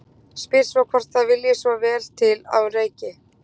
Spyr svo hvort það vilji svo vel til að hún reyki.